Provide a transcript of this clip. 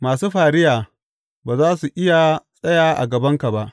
Masu fariya ba za su iya tsaya a gabanka ba.